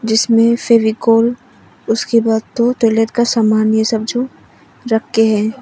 जिसमें फेविकोल उसके बाद टॉयलेट का सामान्य ये सब जो रखे हैं।